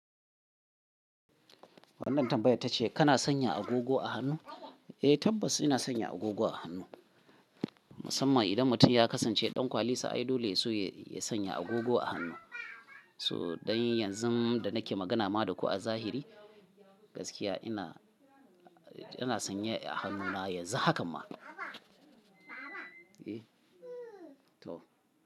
Wannan tambayar tace kana sanya agogo a hannu? Eh tabbas ina sanya agogo a hannu. Musamman idan mutum ya kasance ɗan kwalisa ai dole su ya sanya agogo a hannu. So don yanzu da nake magana maku a zahiri gaskiya ina, yana sanya a hannuna yanzu hakan ma. E, to.